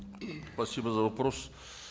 спасибо за вопрос